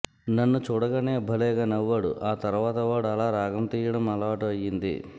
నన్ను చూడగానే భలే గా నవ్వాడు ఆ తరువాత వాడు అలా రాగం తీయడం అలవాటు అయ్యింది